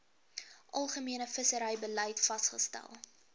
algemene visserybeleid vasgestel